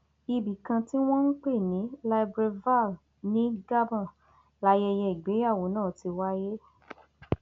ibì kan tí wọn ń pè ní libreville ní gabon layẹyẹ ìgbéyàwó náà ti wáyé